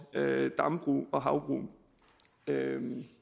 dam og havbrug ja